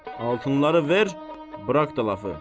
Altınları ver, burax da lafı.